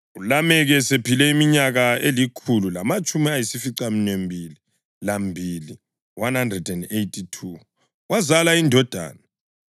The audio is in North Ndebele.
ULameki esephile iminyaka elikhulu lamatshumi ayisificaminwembili lambili (182) wazala indodana.